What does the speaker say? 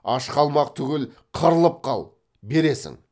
аш қалмақ түгіл қырылып қал бересің